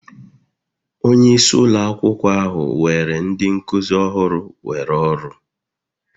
Onye isi ụlọ akwụkwọ ahụ were ndị nkuzi ọhụrụ were ọrụ